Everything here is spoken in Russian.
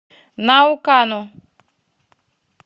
наукану